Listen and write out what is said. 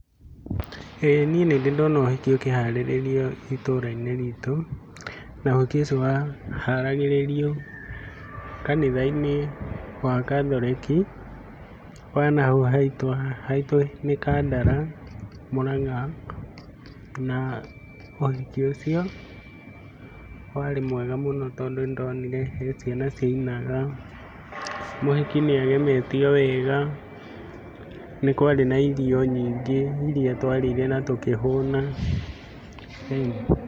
Ĩĩ niĩ nĩndĩ ndona ũhiki ũkĩharĩrĩrio itũra-inĩ ritũ, na ũhiki ũcio waharagĩrĩrio kanitha-inĩ wa gathoreki, wa na hau haitũ, haitũ nĩ Kandara, Mũranga, na ũhiki ũcio warĩ mwega mũno, tondũ nĩndonire he ciana ciainaga, mũhiki nĩagemetio wega, nĩ kwarĩ na irio nyingĩ iria twarĩire na tũkĩhũna, ĩni.